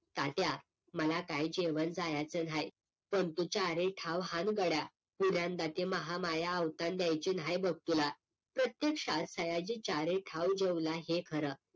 तात्या मला काय जेवण जायचं न्हाय पण तू चारी ताव हान गड्या पुन्यांदा ती महामाया अवसान द्यायची नाय बघ तुला प्रत्येक्षात सयाजी चारेठाव जेवला हे खरं